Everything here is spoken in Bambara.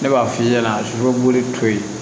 Ne b'a f'i ɲɛna sugunɛ b'olu to ye